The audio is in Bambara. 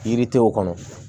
Yiridenw kɔnɔ